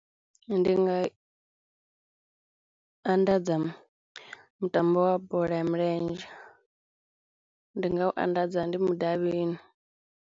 Ndi nga anḓadza mutambo wa bola ya milenzhe, ndi nga u anḓadza ndi mudavhini.